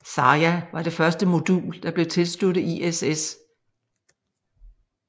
Zarja var det første modul der blev tilsluttet ISS